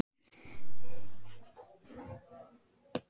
Meðan tími var til.